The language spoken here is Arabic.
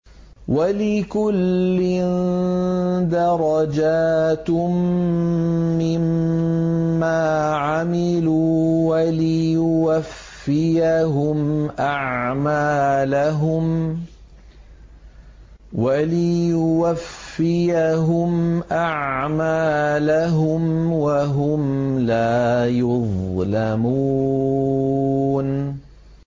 وَلِكُلٍّ دَرَجَاتٌ مِّمَّا عَمِلُوا ۖ وَلِيُوَفِّيَهُمْ أَعْمَالَهُمْ وَهُمْ لَا يُظْلَمُونَ